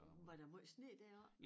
Var der måj sne deroppe?